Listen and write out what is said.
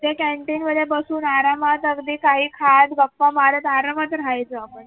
च्या कॅन्टीनमध्ये बसून आरामात अगदी काही खास गप्पा मारत आरामात राहायचो आपण